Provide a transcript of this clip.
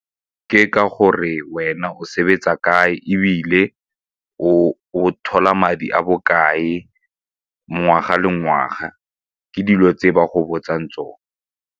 Ke ka gore wena o sebetsa kae ebile o thola madi a bokae ngwaga le ngwaga, ke dilo tse ba go botsang tsone.